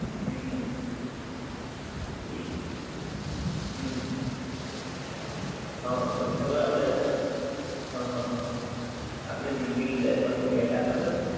હુંમ. ઈ. હુંમ. હં પછી ખબર આપડે હં હં હં હં પછી આપડે દિલ્લી દરબાર માં ગ્યાતાં ખબર?